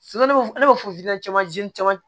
ne bɛ caman caman